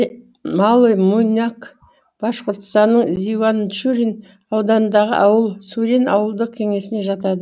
малый муйнак башқұртстанның зиуанчурин ауданындағы ауыл сурен ауылдық кеңесіне жатады